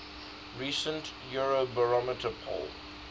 recent eurobarometer poll